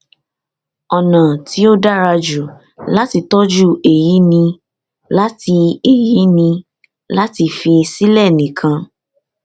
ọnà tí ó dára jù láti tọjú èyí ni láti èyí ni láti fi sílẹ nìkan